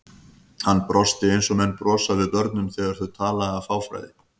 Hann brosti eins og menn brosa við börnum þegar þau tala af fáfræði.